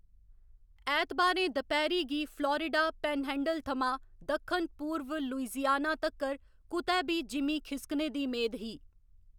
ऐतबारें दपैह्‌‌री गी फ्लोरिडा पैनहैंडल थमां दक्खन पूर्व लुइसियाना तक्कर कुतै बी जिमीं खिस्कने दी मेद ही।